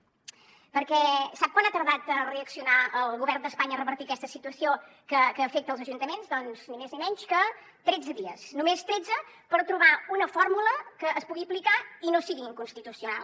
perquè sap quant ha tardat a reaccionar el govern d’espanya a revertir aquesta situació que afecta els ajuntaments doncs ni més ni menys que tretze dies només tretze per trobar una fórmula que es pugui aplicar i no sigui inconstitucional